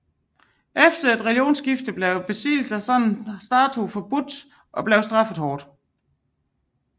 Efter religionsskiftet blev besiddelse af sådanne statuer forbudt og straffet hårdt